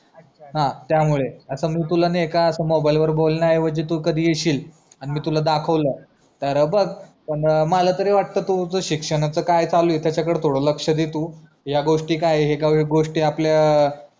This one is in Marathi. हा त्या मुळे असं मी तुला ना एका मोबाईल वर बोलन्या आयवजी तू कधी येशील आणि मी तुला दाखवला तर बघ मला तरी वाटत तुझा शिक्षणाचं काय चालूआहे त्याचा कडे थोडा लक्ष दे तू या गोष्टी काय हेत या गोष्टी आपल्या